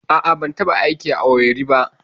A'a, ban taɓa yin aiki a Owerri ba.